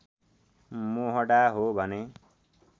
मोहडा हो भने